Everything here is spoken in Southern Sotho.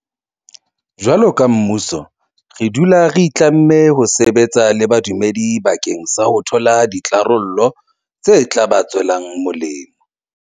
Jwaloka mmuso re dula re itlamme ho sebetsa le badumedi bakeng sa ho thola ditharollo tse tla ba tswelang molemo.